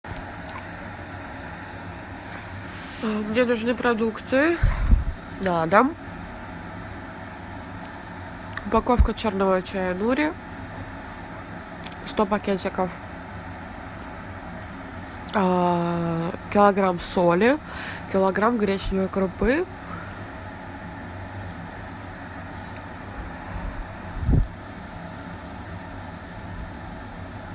мне нужны продукты на дом упаковка черного чая нури сто пакетиков килограмм соли килограмм гречневой крупы